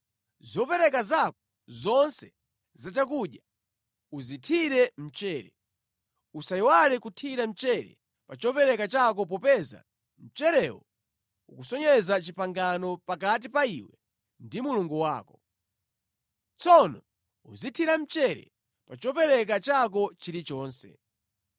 Zopereka zako zonse zachakudya uzithire mchere. Usayiwale kuthira mchere pa chopereka chako popeza mcherewo ukusonyeza pangano pakati pa iwe ndi Mulungu wako. Tsono uzinthira mchere pa chopereka chako chilichonse.